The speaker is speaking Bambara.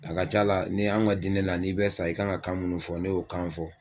A ka ca la ni an ka diinɛ la n'i bɛ sa, i kan ka kan munnu fɔ, ne y'o kanw fɔ.